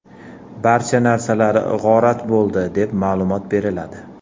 Barcha narsalar g‘orat bo‘ldi” deb, ma’lumot beriladi.